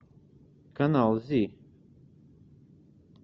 канал зи